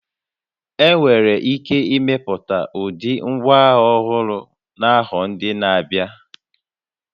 Enwere ike imepụta ụdị ngwaagha ọhụrụ n'afọ ndị na-abịa